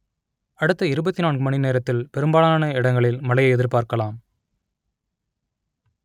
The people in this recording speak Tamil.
அடுத்த இருபத்தி நான்கு மணி நேரத்தில் பெரும்பாலான இடங்களில் மழையை எதிர்பார்க்கலாம்